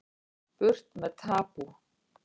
Burt með tabú